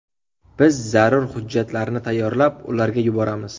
Biz zarur hujjatlarni tayyorlab, ularga yuboramiz.